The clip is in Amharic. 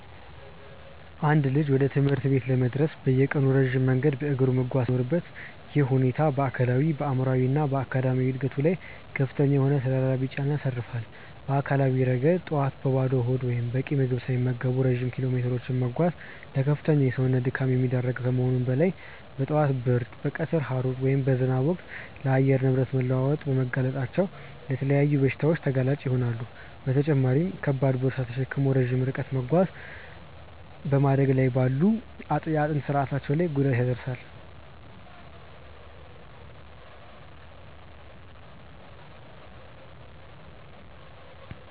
አንድ ልጅ ወደ ትምህርት ቤት ለመድረስ በየቀኑ ረጅም መንገድ በእግሩ መጓዝ ሲኖርበት፣ ይህ ሁኔታ በአካላዊ፣ በአእምሯዊ እና በአካዳሚያዊ ዕድገቱ ላይ ከፍተኛ የሆኑ ተደራራቢ ጫናዎችን ያሳርፋል። በአካላዊ ረገድ፣ ጠዋት በባዶ ሆድ ወይም በቂ ምግብ ሳይመገቡ ረጅም ኪሎሜትሮችን መጓዝ ለከፍተኛ የሰውነት ድካም የሚዳርግ ከመሆኑም በላይ፣ በጠዋት ብርድ፣ በቀትር ሐሩር ወይም በዝናብ ወቅት ለአየር ንብረት መለዋወጥ በመጋለጣቸው ለተለያዩ በሽታዎች ተጋላጭ ይሆናሉ፤ በተጨማሪም ከባድ ቦርሳ ተሸክሞ ረጅም ርቀት መጓዝ በማደግ ላይ ባለው የአጥንት ስርአታቸው ላይ ጉዳት ያደርሳል።